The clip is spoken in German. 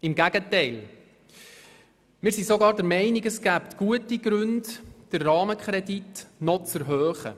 Im Gegenteil: Wir sind sogar der Meinung, es gebe gute Gründe, den Rahmenkredit noch zu erhöhen.